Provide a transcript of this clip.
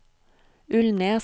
Ulnes